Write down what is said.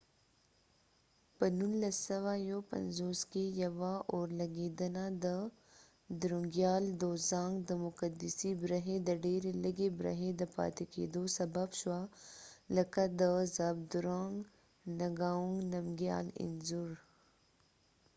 په 1951کې ، یوه اورلګیدنه د درونګیال دوزانګ drunkgyal dozong د مقدسی برخی د ډیری لږی برخی د پاتی کېدو سبب شوه ،لکه د زابدرونګ نګاونګ نمګیال zhabdrung ngawang namgyalانځور